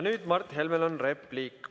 Nüüd on Mart Helmel repliik.